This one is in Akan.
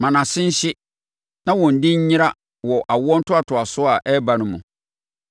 Ma nʼase nhye, na wɔn din nyera wɔ awoɔ ntoatoasoɔ a ɛreba no mu.